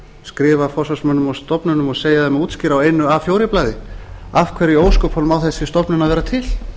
skrifa forsvarsmönnum og stofnunum og segja þeim að útskýra á einu a fjórar blaði af hverju í ósköpunum á þessi stofnun að vera til